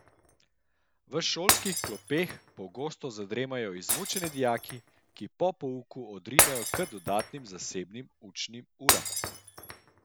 V šolskih klopeh pogosto zadremajo izmučeni dijaki, ki po pouku odrinejo k dodatnim zasebnim učnim uram.